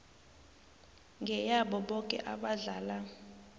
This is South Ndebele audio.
ngeyabo boke abahlala